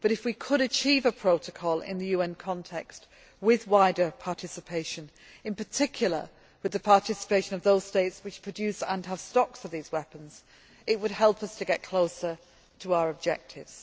but if we could achieve a protocol in the UN context with wider participation in particular, with the participation of those states that produce and have stocks of these weapons it would help us to get closer to our objectives.